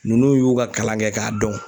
Nunnu y'u ka kalan kɛ ka dɔn.